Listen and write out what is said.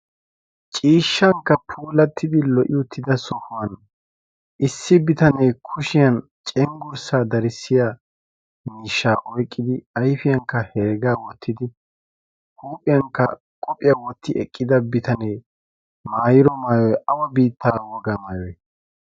ciishshaankka puulatidi lo'iya sohuwan issi bitanee cengurssa miishsha ba kushiyan oyqqidi ayfiyankka heregaa wotidi maayido maayoy awa biittaa wogaa besii?